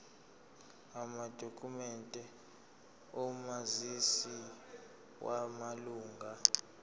amadokhumende omazisi wamalunga